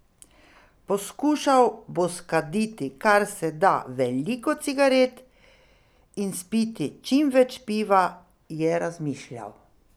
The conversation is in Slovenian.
Poskušal bo skaditi kar se da veliko cigaret in spiti čim več piva, je razmišljal.